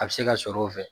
A bɛ se ka sɔrɔ o fɛ